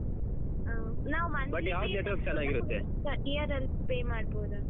ಹಾ ನಾವು ಮನೆ year ಅಲ್ pay ಮಾಡ್ಬೋದಾ?